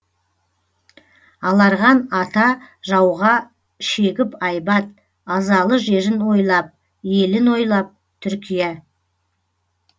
аларған ата жауға шегіп айбат азалы жерін ойлап елін ойлап түркия